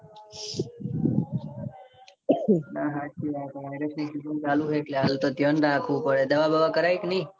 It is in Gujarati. હા હાચી વાત છે. ચાલુ રહે એટલે હાલ તો ધ્યાન રાખવું પડે. દવા બવા કરાવી કે નાઈ.